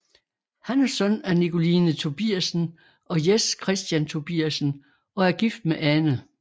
Han er søn af Nikoline Tobiassen og Jes Kristian Tobiassen og er gift med Ane